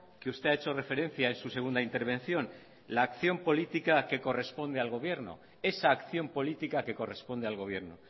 que usted ha hecho referencia en su segunda intervención la acción política que corresponde al gobierno esa acción política que corresponde al gobierno